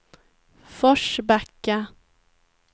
Forsbacka